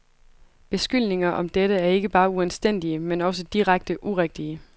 Beskyldninger om dette er ikke bare uanstændige, men også direkte urigtige.